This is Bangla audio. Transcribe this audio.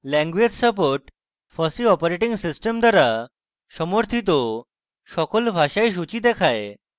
language support fossee operating system দ্বারা সমর্থিত সকল ভাষার সূচী দেখায়